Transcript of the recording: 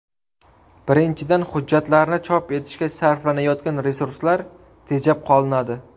Birinchidan, hujjatlarni chop etishga sarflanayotgan resurslar tejab qolinadi.